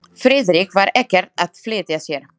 Friðrik var ekkert að flýta sér.